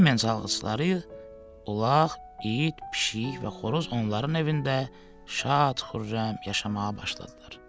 Bremen çalğıçıları ulaq, it, pişik və xoruz onların evində şad-xürrəm yaşamağa başladılar.